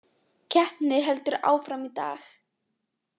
Keppni heldur áfram í dag